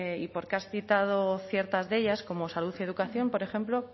y porque has citado ciertas de ellas como salud y educación por ejemplo